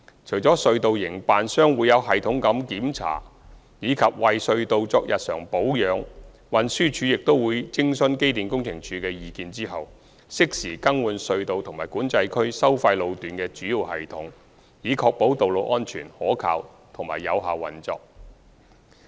除了隧道營辦商會有系統地檢查及為隧道作日常保養外，運輸署亦會在徵詢機電工程署的意見後，適時更換隧道及管制區收費路段的主要系統，以確保道路安全、可靠和有效運作。